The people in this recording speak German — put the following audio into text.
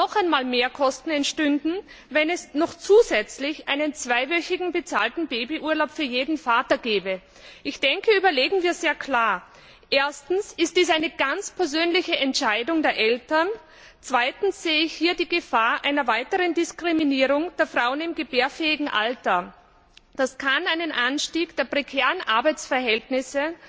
Weitere Mehrkosten entstünden, wenn es noch zusätzlich einen zweiwöchigen bezahlten Babyurlaub für jeden Vater gäbe. Überlegen wir sehr klar Erstens ist dies eine ganz persönliche Entscheidung der Eltern, zweitens sehe ich hier die Gefahr einer weiteren Diskriminierung der Frauen im gebärfähigen Alter. Das kann einen Anstieg der prekären Arbeitsverhältnisse,